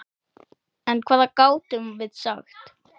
En hvað gátum við sagt?